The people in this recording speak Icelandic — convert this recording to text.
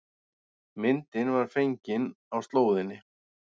Myndin var fengin á slóðinni